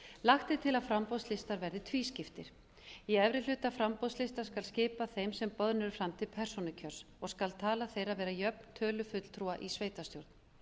lagt er til að framboðslistar verði tvískiptir í efri hluta framboðslistans skal skipa þeim sem boðnir eru fram til persónukjörs og skal tala þeirra vera jöfn tölu fulltrúa í sveitarstjórn